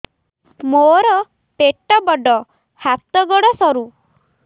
ମୋର ପେଟ ବଡ ହାତ ଗୋଡ ସରୁ